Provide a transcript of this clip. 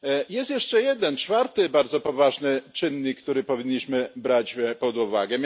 Jest jeszcze jeden czwarty bardzo poważny czynnik, który powinniśmy brać pod uwagę.